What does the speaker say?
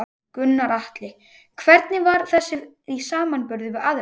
Gunnar Atli: Hvernig var þessi í samanburði við aðrar?